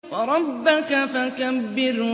وَرَبَّكَ فَكَبِّرْ